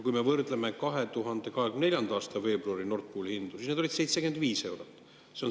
Kui me võrdleme sellega Nord Pooli hinda 2024. aasta veebruaris, siis see oli 75 eurot.